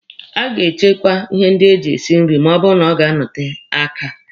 A ga-echekwa ihe ndị eji esi nri ma ọ bụrụ na ọ ga-anọte aka.